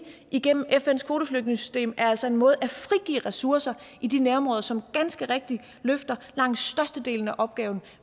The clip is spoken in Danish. gennem fns kvoteflygtningesystem er altså en måde at frigive ressourcer i de nærområder som ganske rigtigt løfter langt størstedelen af opgaven